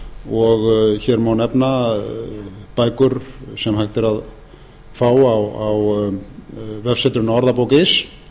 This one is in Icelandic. og hér má nefna bækur sem hægt er að fá á vefsetrinu ordabok punktur is